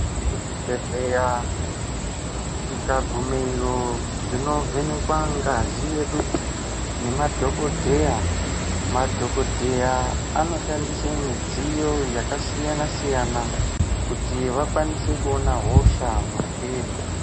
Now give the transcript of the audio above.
Kuzvibhedhleya tikagumeyo tinovhenekwa ngazi yedu nemadhokodheya , madhokodheya anoshandisa midziyo yakasiyana siyana kuti akwanise kuona hosha mwatiri.